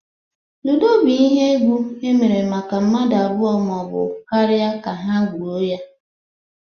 ludo bu ihe egwụ emere maka mmadu abụọ ma ọ bụ karịa ka ha gwuo ya.